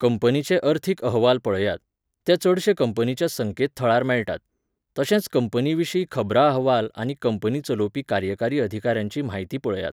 कंपनीचे अर्थीक अहवाल पळयात. ते चडशे कंपनीच्या संकेत थळार मेळटात. तशेंच कंपनीविशीं खबरां अहवाल आनी कंपनी चलोवपी कार्यकारी अधिकाऱ्यांची म्हायती पळयात